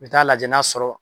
Bi taa lajɛ n'a sɔrɔ.